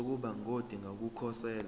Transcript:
sokuba ngodinga ukukhosela